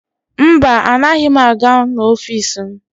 Mba, anaghị m aga n'ọfiisi m.